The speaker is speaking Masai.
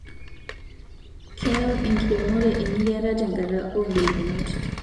Keyau inkeremore engiriata tenkata oogolikinot